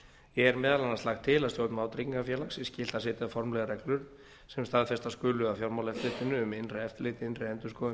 er meðal annars lagt til að stjórn vátryggingafélags sé skylt að setja formlegar reglur sem staðfestar skulu af fjármálaeftirlitinu um innra eftirlit innri endurskoðun